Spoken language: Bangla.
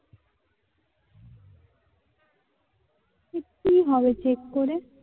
কি হবে check করে?